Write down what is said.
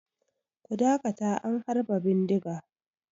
Ku dakata an harba bindiga!